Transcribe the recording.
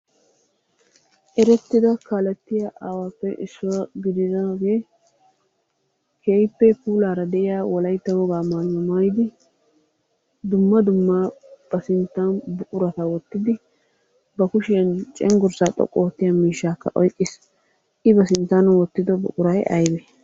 Erettiida kaalettiya aawaappe issuwa gididaagee keehippe puulaara de"iyaa wolayitta wogaa maayuwa maayidi dumma dumma ba sinttan buqurata wottidi ba kushiyan cenggurssaa xoqqu oottiyaa miishshaakka oyqqis. I ba sinttan wottido buquray aybee?